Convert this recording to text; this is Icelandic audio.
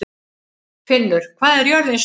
Finnur, hvað er jörðin stór?